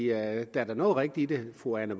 er da noget rigtigt i det fru anne